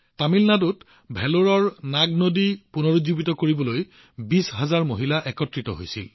তামিলনাডুত ভেলোৰৰ নাগ নদী পুনৰুজ্জীৱিত কৰিবলৈ ২০ হাজাৰ মহিলা একত্ৰিত হৈছিল